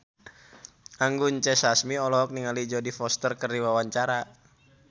Anggun C. Sasmi olohok ningali Jodie Foster keur diwawancara